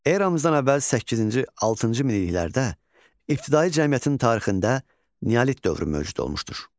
Eramızdan əvvəl səkkizinci, altıncı minilliklərdə ibtidai cəmiyyətin tarixində Neolit dövrü mövcud olmuşdur.